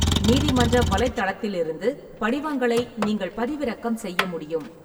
நீதிமன்ற வலைத்தளத்திலிருந்து படிவங்களை நீங்கள் பதிவிறக்கம் செய்ய முடியும்.